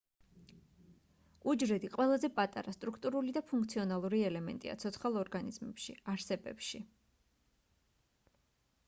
უჯრედი ყველაზე პატარა სტრუქტურული და ფუნქციონალური ელემენტია ცოცხალ ორგანიზმებში არსებებში